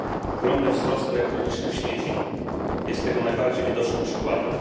Ogromny wzrost elektronicznych śmieci jest tego najbardziej widocznym przykładem.